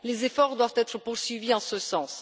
Les efforts doivent être poursuivis en ce sens.